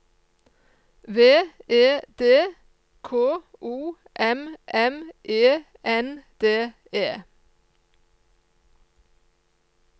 V E D K O M M E N D E